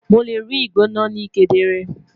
Mo le rii igbona ni kedere